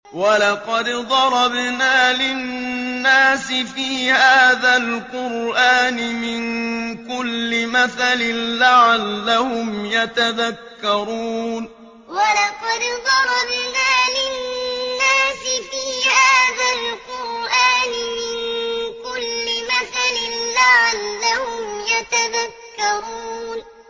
وَلَقَدْ ضَرَبْنَا لِلنَّاسِ فِي هَٰذَا الْقُرْآنِ مِن كُلِّ مَثَلٍ لَّعَلَّهُمْ يَتَذَكَّرُونَ وَلَقَدْ ضَرَبْنَا لِلنَّاسِ فِي هَٰذَا الْقُرْآنِ مِن كُلِّ مَثَلٍ لَّعَلَّهُمْ يَتَذَكَّرُونَ